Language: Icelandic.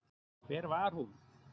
Hvar var hún?